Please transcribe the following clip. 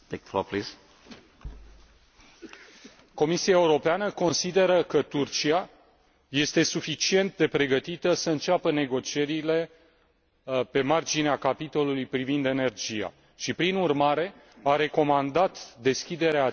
Comisia Europeană consideră că Turcia este suficient de pregătită să înceapă negocierile pe marginea capitolului privind energia și, prin urmare, a recomandat deschiderea acestui capitol în primăvara anului